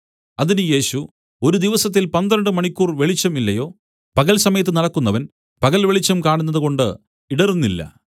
അതിന് യേശു ഒരു ദിവസത്തിൽ പന്ത്രണ്ട് മണിക്കൂർ വെളിച്ചം ഇല്ലയോ പകൽ സമയത്ത് നടക്കുന്നവൻ പകൽവെളിച്ചം കാണുന്നതുകൊണ്ട് ഇടറുന്നില്ല